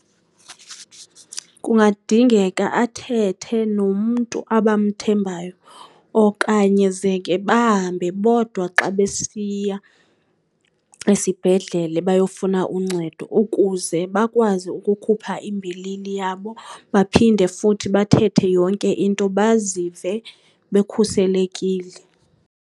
Kungadingeka athethe nomntu abamthembayo okanye zeke bahambe bodwa xa besiya esibhedlele bayofuna uncedo ukuze bakwazi ukukhupha imbilini yabo, baphinde futhi bathethe yonke into bazive bekhuselekile.